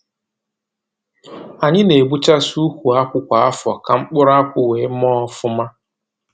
Anyi na-egbuchasị ukwu akwụ kwa afọ, ka mkpụrụ akwụ wee mee ọfụma.